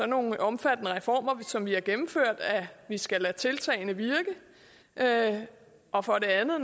nogle omfattende reformer som vi har gennemført skal lade tiltagene virke og for det andet at